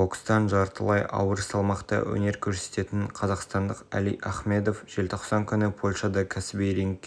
бас директорывинстің айтуынша жасыл энергетика аясында мұнда жел энергиясы пайдаланылуы мүмкін төраға лауазымына